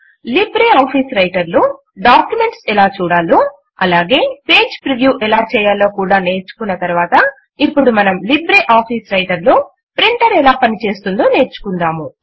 LibreOffice Writer లో documents ఎలా చూడాలో అలాగే పేజ్ ప్రివ్యూ ఎలా చేయాలో కూడా నేర్చుకున్న తరువాత ఇప్పుడు మనము లిబ్రేఆఫీస్ రైటర్ లో ప్రింటర్ ఎలా పని చేస్తుందో నేర్చుకుందాము